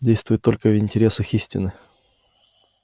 действует только в интересах истины